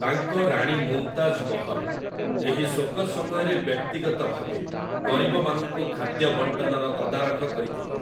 ତାଙ୍କ ରାଣୀ ମୁମ୍‌ତାଜ୍‌ ମହଲ୍ ଏହି ଶୋକ ସମୟରେ ବ୍ୟକ୍ତିଗତ ଭାବେ ଗରିବମାନଙ୍କୁ ଖାଦ୍ୟ ବଣ୍ଟନର ତଦାରଖ କରିଥିଲେ ।